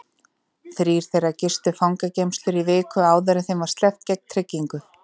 Þrír þeirra gistu fangageymslur í viku áður en þeim var sleppt gegn tryggingu.